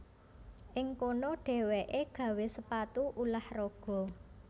Ing kono dhéwéké gawé sepatu ulah raga